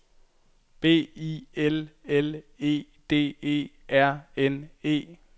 B I L L E D E R N E